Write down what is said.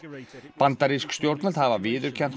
bandarísk stjórnvöld hafa viðurkennt